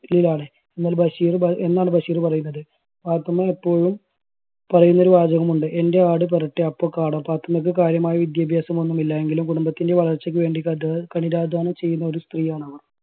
ലാണ്. എന്നാൽ ബഷീർ എന്നാണ് ബഷീർ പറയുന്നത്. പാത്തുമ്മ എപ്പോഴും പറയുന്ന ഒരു വാചകം ഉണ്ട് എൻറെ ആട് പെറട്ടെ അപ്പോ കാണാം പാത്തുമ്മയ്ക്ക് കാര്യമായ വിദ്യാഭ്യാസം ഒന്നുമില്ല എങ്കിലും കുടുംബത്തിൻറെ വളർച്ചയ്ക്ക് വേണ്ടി കഠ് കഠിനാധ്വാനം ചെയ്യുന്ന ഒരു സ്ത്രീയാണ്